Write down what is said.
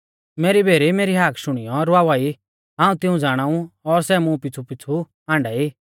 मेरी भेरी मेरी हाक शुणीयौ रवावा ई हाऊं तिऊं ज़ाणाऊ और सै मुं पीछ़ुपीछ़ु आण्डाई